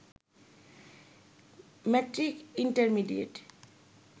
matric intermediate